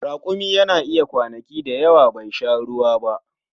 Rakumi yana iya kwanaki da yawa bai sha ruwa ba.